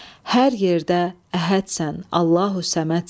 Hər yerdə əhədsən, Allahü Səmədsən.